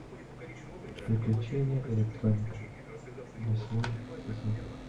приключения электроника восьмой сезон